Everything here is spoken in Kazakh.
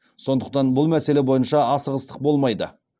сондықтан бұл мәселе бойынша асығыстық болмайды